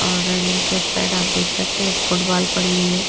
और रेलिंग के साइड आप देख सकते हैं एक फुटबॉल पड़ी हुई है।